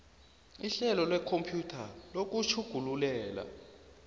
ihlelo lekhompyutha lokutjhugululela